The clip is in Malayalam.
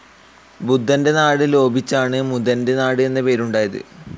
ബുദ്ധൻ്റെ നാട് ലോപിച്ചാണ് മുതൻ്റെ നാട് എന്ന പേര് ഉണ്ടായത്.